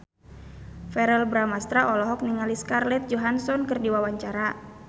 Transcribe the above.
Verrell Bramastra olohok ningali Scarlett Johansson keur diwawancara